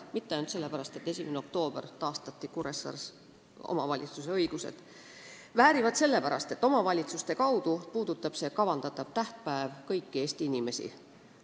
Mitte ainult sellepärast, et ühe aasta 1. oktoobril taastati Kuressaares omavalitsuse õigused, väärivad sellepärast, et omavalitsuste kaudu puudutab see kavandatav tähtpäev kõiki Eesti inimesi.